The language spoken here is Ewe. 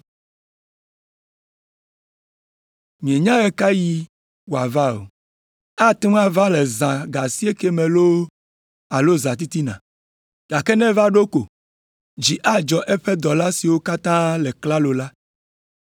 Mienya ɣe ka ɣie wòava o, ate ŋu ava le zã ga asiekɛ me loo alo zãtitina. Gake ne eva ɖo ko, dzi adzɔ eƒe dɔla siwo katã le klalo la.